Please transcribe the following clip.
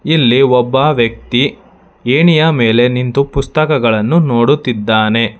ಇಲ್ಲಿ ಒಬ್ಬ ವ್ಯಕ್ತಿ ಎಣಿಯ ಮೇಲೆ ನಿಂತು ಪುಸ್ತಕಗಳನ್ನು ನೋಡುತ್ತಿದ್ದಾನೆ.